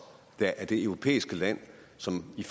der er det europæiske land som i